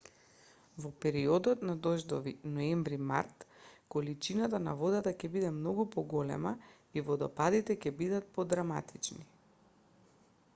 во периодот на дождови ноември-март количината на водата ќе биде многу поголема и водопадите ќе бидат подраматични